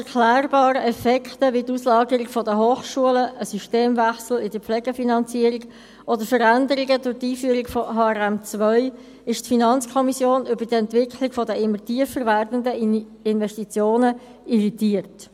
Trotz erklärbaren Effekten wie der Auslagerung der Hochschulen, einem Systemwechsel in der Pflegefinanzierung oder Veränderungen durch die Einführung von HRM2 ist die FiKo über die Entwicklung der immer tiefer werdenden Investitionen irritiert.